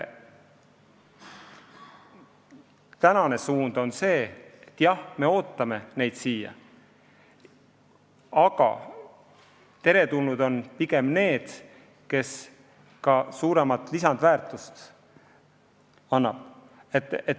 Praegune suund on see, et jah, me ootame neid siia, aga teretulnud on pigem need, kes ka suuremat lisandväärtust toodavad.